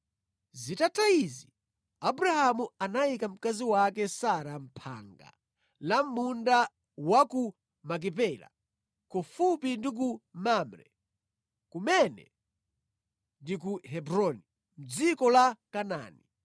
Zitatha izi, Abrahamu anayika mkazi wake Sara mʼphanga la mʼmunda wa ku Makipela, kufupi ndi ku Mamre (kumene ndi ku Hebroni) mʼdziko la Kanaani.